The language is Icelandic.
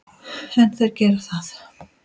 En þeir gera það.